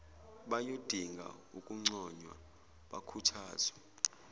bayodinga ukunconywa bakhuthazwe